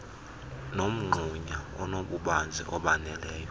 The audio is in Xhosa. nomgxunya onobubanzi obaneleyo